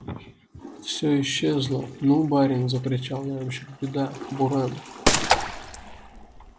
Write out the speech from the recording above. всё исчезло ну барин закричал ямщик беда буран